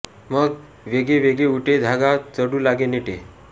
मग वेगे वेगे ऊठे धागा चढु लागे नेटे